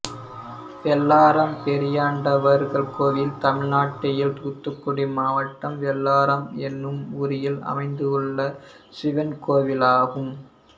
வெள்ளாரம் பெரியாண்டவர் கோயில் தமிழ்நாட்டில் தூத்துக்குடி மாவட்டம் வெள்ளாரம் என்னும் ஊரில் அமைந்துள்ள சிவன் கோயிலாகும்